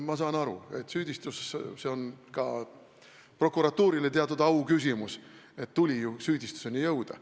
Ma saan aru, et see on ka prokuratuurile teatud auküsimus, et tuli süüdistuseni jõuda.